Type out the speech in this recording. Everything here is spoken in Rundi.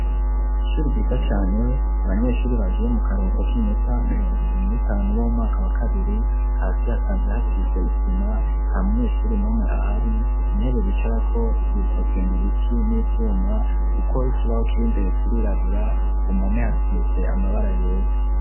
Ishuri ryiza cane, abanyeshure bagiye mu karuhuko k'iminota mirongo ibiri n'itanu bo mu mwaka wa kabiri, hasi hasanzwe hasize isima, nta munyeshuri n'umwe ahari, intebe bicarako zikozwe mu biti n'ivyuma, kuko ikibaho kiri imbere kirirabura, ku mpome hasise amabara yera.